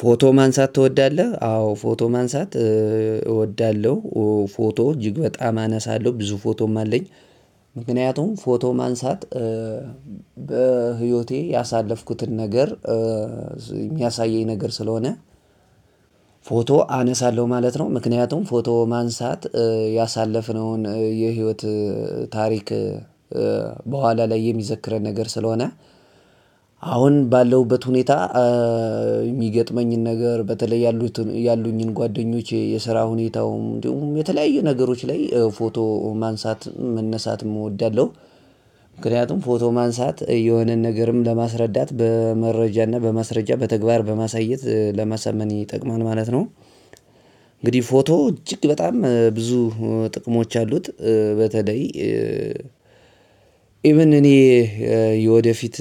ፎቶ ማንሳት ትወዳለህ? አዎ ፎቶ ማንሳት እወዳለሁ። ፎቶ እጅግ በጣም አነሳለሁ። ብዙ ፎቶም አለኝ ምክንያቱም ፎቶ ማንሳት በህይወቴ ያሳለፍኩትን ነገር የሚያሳየኝ ነገር ስለሆነ። ፎቶ አነሳለሁ ማለት ነው። ምክንያቱም ፎቶ ማንሳት ያሳለፍነውን የህይወት ታሪክ በኋላ ላይ የሚዘክረን ነገር ስለሆነ። አሁን ባለሁበት ሁኔታ የሚገጥመኝን ነገር በተለይ ያሉኝን ጓደኞቼ የስራ ሁኔታውም የተለያየ ነገሮች ላይ ፎቶ ማንሳት መነሳትም እወዳለሁ። ምክንያቱም ፎቶ ማንሳት የሆነን ነገርም ለማስረዳት በመረጃ እና በማስረጃ በተግባር በማሳየት ለማሳመን ይጠቅማል ማለት ነው። እንግዲህ ፎቶ እጅግ በጣም ብዙ ጥቅሞች አሉት። በተለይ ኢቭን እኔ የወደፊት